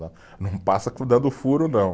Não passa dando furo, não.